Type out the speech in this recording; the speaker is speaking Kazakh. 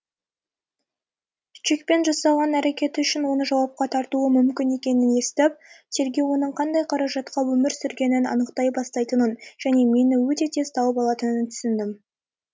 чекпен жасаған әрекеті үшін оны жауапқа тартуы мүмкін екенін естіп тергеу оның қандай қаражатқа өмір сүргенін анықтай бастайтынын және мені өте тез тауып алатынын түсіндім